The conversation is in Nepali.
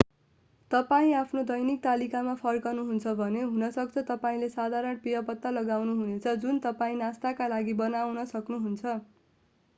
तपाईं आफ्नो दैनिक तालिकामा फर्कनुहुन्छ भने हुनसक्छ तपाईंले साधारण पेय पत्ता लगाउनु हुने छ जुन तपाईं नास्ताका लागि बनाउन सक्नुहुन्छ